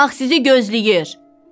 Torpaq sizi gözləyir!